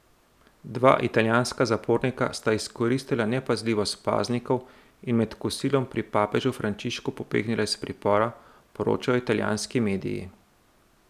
Dva italijanska zapornika sta izkoristila nepazljivost paznikov in med kosilom pri papežu Frančišku pobegnila iz pripora, poročajo italijanski mediji.